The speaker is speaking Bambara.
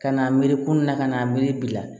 Ka n'a miiri kun na ka n'a miiri bi la